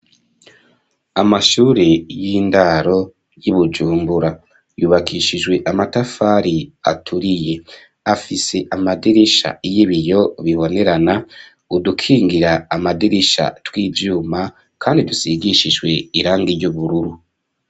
Amashuri y'indaro y'i Bujumbura yubakishijwe amatafari aturiye afise amadirisha y'ibiyo bibonerana udukingira amadirisha tw'ivyuma kandi dusigishijwe irangi ry'ubururu.